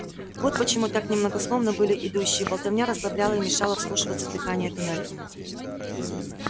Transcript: вот почему так немногословны были идущие болтовня расслабляла и мешала вслушиваться в дыхание туннелей